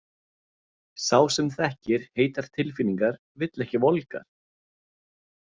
Sá sem þekkir heitar tilfinningar vill ekki volgar.